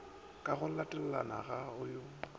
ka go latelana go ya